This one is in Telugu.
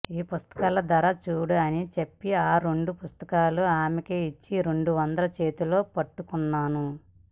ఈ పుస్తకాల ధర చూడు అని చెప్పి ఆ రెండు పుస్తకాలు ఆమెకిచ్చి రెండు వందలు చేతిలో పట్టుకొన్నాను